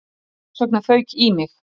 Þess vegna fauk í mig